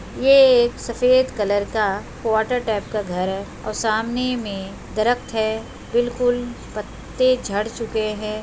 ये एक सफ़ेद कलर का क्वाटर टाइप का घर है और सामने में दरक्त है बिल्कुल पत्ते झड़ चुके हैं ।